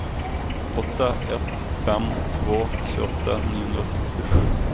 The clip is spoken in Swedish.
åtta ett fem två tjugoåtta niohundrasextiosju